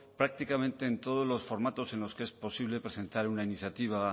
prácticamente en todos los formatos en los que es posible presentar una iniciativa